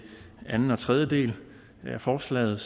anden og tredje del af forslaget